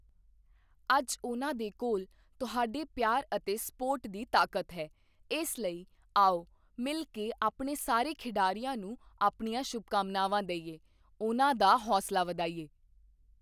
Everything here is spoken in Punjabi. ਅੱਜ ਉਨ੍ਹਾਂ ਦੇ ਕੋਲ ਤੁਹਾਡੇ ਪਿਆਰ ਅਤੇ ਸੱਪੋਟ ਦੀ ਤਾਕਤ ਹੈ, ਇਸ ਲਈ ਆਓ ਮਿਲ ਕੇ ਆਪਣੇ ਸਾਰੇ ਖਿਡਾਰੀਆਂ ਨੂੰ ਆਪਣੀਆਂ ਸ਼ੁਭਕਾਮਨਾਵਾਂ ਦੇਈਏ, ਉਨ੍ਹਾਂ ਦਾ ਹੌਸਲਾ ਵਧਾਈਏ।